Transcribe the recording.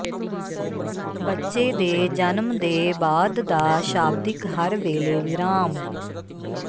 ਬੱਚੇ ਦੇ ਜਨਮ ਦੇ ਬਾਅਦ ਦਾ ਸ਼ਾਬਦਿਕ ਹਰ ਵੇਲੇ ਵਿਰਾਮ